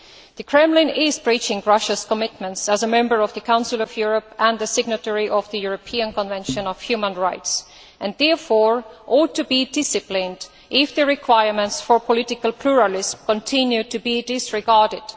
The Kremlin is breaching Russia's commitments as a Member of the Council of Europe and a signatory of the European Convention on Human Rights and therefore ought to be disciplined if the requirements for political pluralism continue to be disregarded.